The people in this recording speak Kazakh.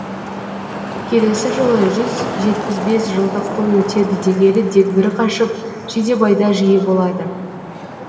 келесі жылы жүз жетпіс бес жылдық той өтеді дегелі дегбірі қашып жидебайда жиі болады